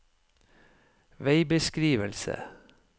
veibeskrivelse